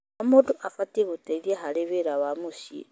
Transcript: O mũndũ abatiĩ gũteithia harĩ wĩra wa mũciĩ.